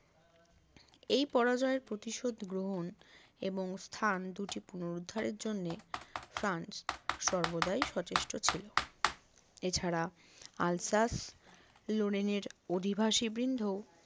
এই পরাজয়ের প্রতিশোধ গ্রহণ এবং স্থান দুটি পুনরুদ্ধারের জন্য ফ্রান্স সর্বদাই সচেষ্ট ছিল এছাড়া আলসাস লরেন এর অধিবাসীবৃন্দ